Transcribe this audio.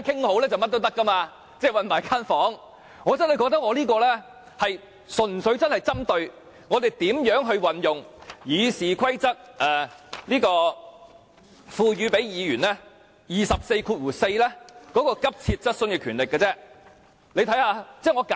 我真的認為我這項修正案，純粹是針對如何運用《議事規則》賦予議員根據第244條提出急切質詢的權力。